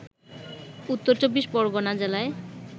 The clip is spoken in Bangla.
উত্তর চব্বিশ পরগণা জেলায়